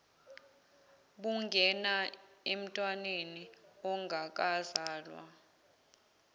bungena emntwaneni ongakazalwa